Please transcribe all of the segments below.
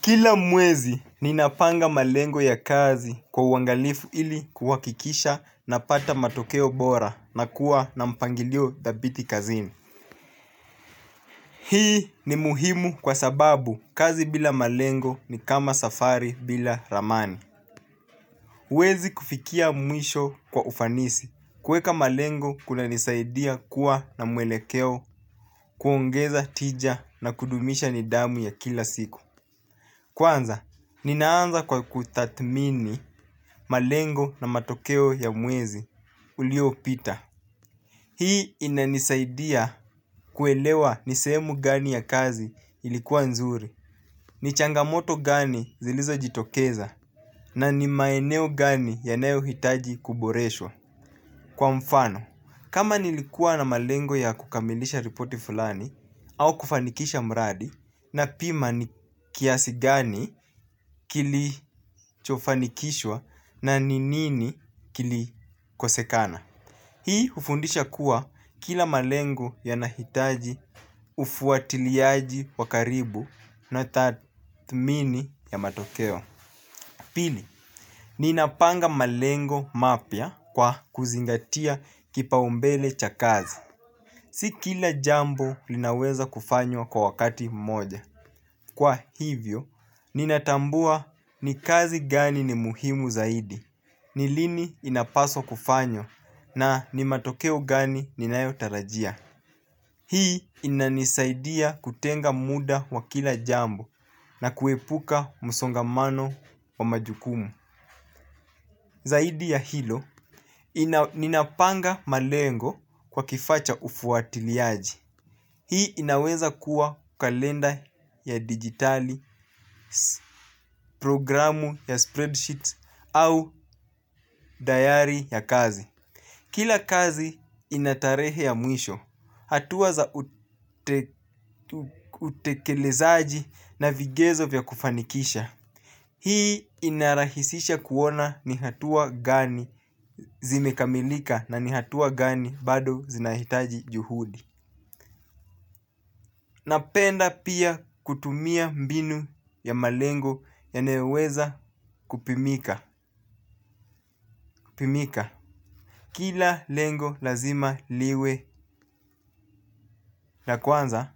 Kila mwezi ninapanga malengo ya kazi kwa uangalifu ili kuhakikisha napata matokeo bora nakuwa na mpangilio thabiti kazini. Hii ni muhimu kwa sababu kazi bila malengo ni kama safari bila ramani. Huwezi kufikia mwisho kwa ufanisi kuweka malengo kunanisaidia kuwa na mwelekeo kuongeza tija na kudumisha nidhamu ya kila siku. Kwanza, ninaanza kwa kutathmini malengo na matokeo ya mwezi uliopita. Hii inanisaidia kuelewa ni sehemu gani ya kazi ilikuwa nzuri, ni changamoto gani zilizojitokeza, na ni maeneo gani yanayohitaji kuboreshwa. Kwa mfano, kama nilikuwa na malengo ya kukamilisha ripoti fulani au kufanikisha mradi napima ni kiasi gani kilichofanikishwa na ni nini kilikosekana. Hii hufundisha kuwa kila malengo yanahitaji ufuatiliaji wa karibu na tathmini ya matokeo. Pili, ninapanga malengo mapya kwa kuzingatia kipaumbele cha kazi. Si kila jambo linaweza kufanywa kwa wakati mmoja. Kwa hivyo, ninatambua ni kazi gani ni muhimu zaidi, ni lini inapaswa kufanywa na ni matokeo gani ninayotarajia. Hii inanisaidia kutenga muda wa kila jambo na kuepuka msongomano wa majukumu. Zaidi ya hilo, ninapanga malengo kwa kifaa cha ufuatiliaji. Hii inaweza kuwa kalenda ya dijitali, programu ya spreadsheet au dayari ya kazi. Kila kazi ina tarehe ya mwisho, hatua za utekelezaji na vigezo vya kufanikisha. Hii inarahisisha kuona ni hatua gani zimekamilika na ni hatua gani bado zinahitaji juhudi. Napenda pia kutumia mbinu ya malengo yanayoweza kupimika. Pimika, kila lengo lazima liwe na kwanza,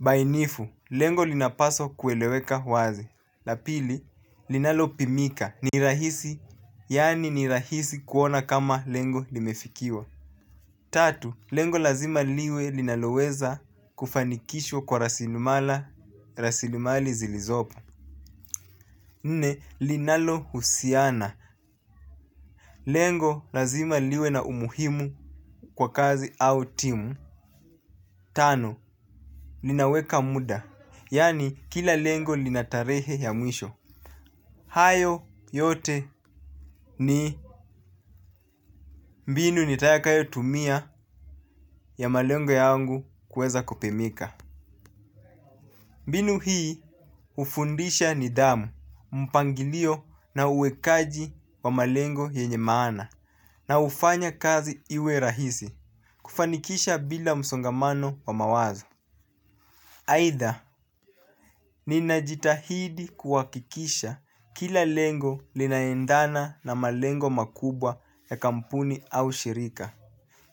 bainifu, lengo linapaswa kueleweka wazi. La pili, linalopimika, ni rahisi, yani ni rahisi kuona kama lengo limefikiwa. Tatu, lengo lazima liwe linaloweza kufanikishwa kwa rasilimali zilizopo. Nne, linalohusiana, lengo lazima liwe na umuhimu kwa kazi au timu. Tano, linaweka muda, yani kila lengo lina tarehe ya mwisho. Hayo yote ni mbinu nitakayo tumia ya malengo yangu kuweza kupimika. Mbinu hii hufundisha nidhamu, mpangilio na uwekaji wa malengo yenye maana. Na hufanya kazi iwe rahisi, kufanikisha bila msongamano wa mawazo. Aidha, ninajitahidi kuhakikisha kila lengo linaendana na malengo makubwa ya kampuni au shirika.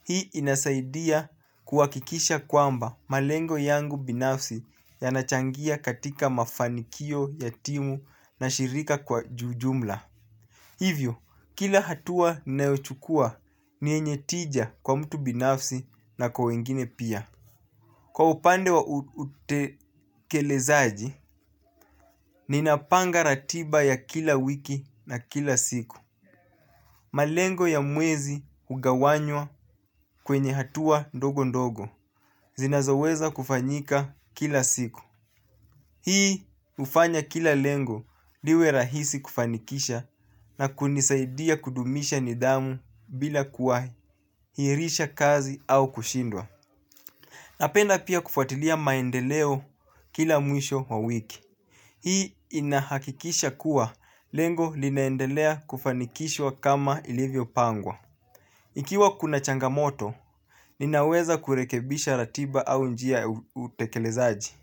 Hii inasaidia kuhakikisha kwamba malengo yangu binafsi yanachangia katika mafanikio ya timu na shirika kwa ujumla. Hivyo, kila hatua ninayochukua ni yenye tija kwa mtu binafsi na kwa wengine pia. Kwa upande wa utekelezaji, ninapanga ratiba ya kila wiki na kila siku. Malengo ya mwezi hugawanywa kwenye hatua ndogo ndogo. Zinazoweza kufanyika kila siku. Hii hufanya kila lengo liwe rahisi kufanikisha na kunisaidia kudumisha nidhamu bila kuahirisha kazi au kushindwa. Napenda pia kufuatilia maendeleo kila mwisho wa wiki. Hii inahakikisha kuwa lengo linaendelea kufanikishwa kama ilivyopangwa. Ikiwa kuna changamoto, ninaweza kurekebisha ratiba au njia utekelezaji.